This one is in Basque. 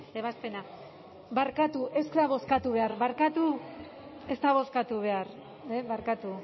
ebazpena barkatu ez da bozkatu behar barkatu ez da bozkatu behar barkatu